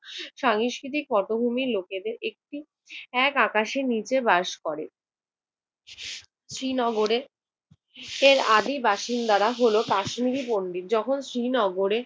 সাংস্কৃতিক পটভূমির লোকেদের একটু এক আকাশের নিচে বাস করে। শ্রীনগরে এর আদি বাসিন্দারা হল কাশ্মীরি পন্ডিত। যখন শ্রীনগরে